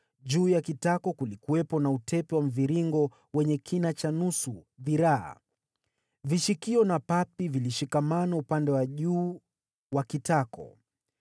Juu ya kitako kulikuwepo na utepe wa mviringo wenye kina cha nusu dhiraa. Vishikio na papi vilishikamana upande wa juu wa kitako.